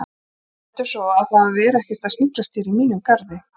Mundu það svo að vera ekkert að sniglast hér í mínum garði